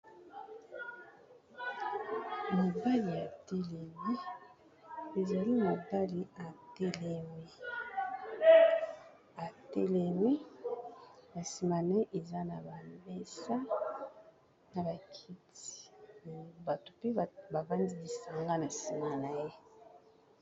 Mobali atelemi, ezali mobali atelemi na nsima na ye eza na ba mesa na ba kiti me bato mpe ba vandi lisanga na nsima na ye.